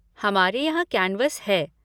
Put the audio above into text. हमारे यहाँ कैन्वस है।